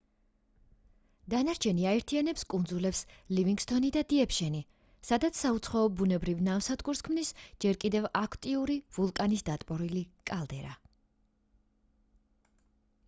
დანარჩენი აერთიანებს კუნძულებს ლივინგსტონი და დიეპშენი სადაც საუცხოო ბუნებრივ ნავსადგურს ქმნის ჯერ კიდევ აქტიური ვულკანის დატბორილი კალდერა